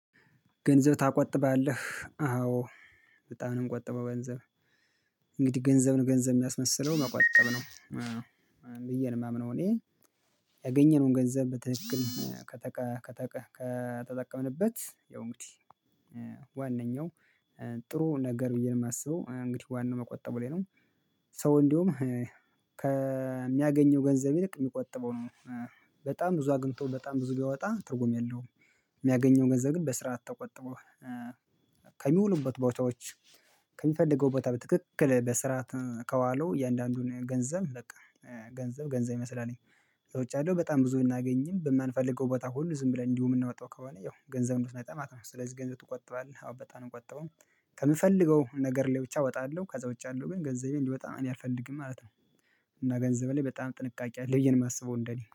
ገንዘብ ትቆጥባለህ አዎ በጣም ነው የምቆጥበው ገንዘብ። እንግዲህ ገንዘብ ነው ገንዘብ የሚያስመስለው መቆጠብ ነው አዎ ብዬ ነው የማምነው እኔ። ያገኘነውን ገንዘብ በትክክል ከተቀ ከተጠቀምንበት ያው እንግዲህ ዋነኛው ጥሩ ነገር ብዬ ነው የማስበው እንግዲህ ዋናው መቆጠቡ ላይ ነው። ሰው እንዲሁም ከሚያገኘው ገንዘብ ይልቅ የሚቆጥበው ነው። በጣም ብዙ አግኝቶ በጣም ብዙ ቢያወጣ ትርጉም የለውም። የሚያገኘውን ገንዘብ ግን በስርዓት ተቆጥቦ ከሚውሉበት ቦታዎች ከሚፈልገው ቦታ በትክክል በስራ ካዋለው እያንዳንዱን ገንዘብ በቃ ገንዘብ ገንዘብ ይመስላል። እዛ ውጭ ያለው በጣም ብዙ ብናገኝም በማንፈልገው ቦታ ሁሉ ዝም ብለን እንዲሁ የምናወጣው ከሆነ ያው ገንዘብነቱን ያጣል ማለት ነው። ስለዚህ ገንዘብ ትቆጥባለህ? አወ በጣም ነው የምቆጠው ከምፈልገው ነገር ላይ ብቻ አወጣለሁ ከዛ ብቻ አለው ግን ገንዘቤ እንዲወጣ እኔ አልፈልግም ማለት ነው። እና ገንዘብ ላይ በጣም ጥንቃቄ አለ ብዬ የማስበው እንደኔ